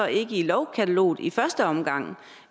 ikke i lovkataloget i første omgang